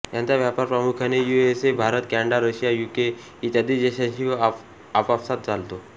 यांचा व्यापार प्रामुख्याने USA Bharat Canada Russia UK इत्यादी देशांशी व आपापसात चालतो